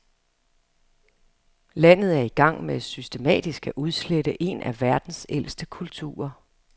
Landet er i gang med systematisk at udslette en af verdens ældste kulturer.